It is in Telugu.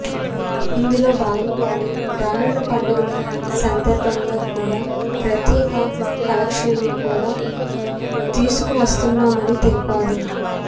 ఇందులో భాగంగానే రానున్న పండుగల సందర్భంగా కూడా ప్రత్యేక కలెక్షన్స్ను కూడా తీసుకువస్తున్నామని తెలిపారు